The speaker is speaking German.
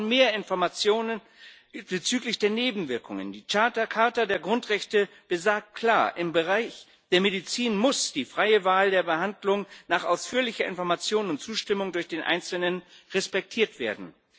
Wir brauchen mehr Informationen bezüglich der Nebenwirkungen. Die Charta der Grundrechte besagt klar Im Bereich der Medizin muss die freie Wahl der Behandlung nach ausführlicher Information und Zustimmung durch den Einzelnen respektiert werden.